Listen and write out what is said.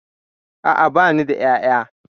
A'a bani da ƴaƴa